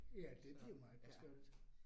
Ja, det bliver meget besværligt